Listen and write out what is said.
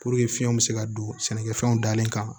fiɲɛ bɛ se ka don sɛnɛkɛfɛnw dalen kan